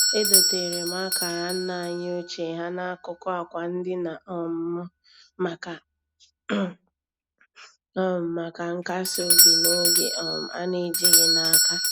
Edoteere m akara nna anyị ochie ha n'akụkụ akwa ndina um m um maka nkas obi n'oge um a na-ejighị n'aka.